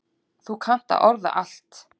Þú kannt að orða allt.